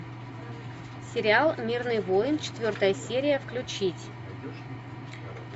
сериал мирный воин четвертая серия включить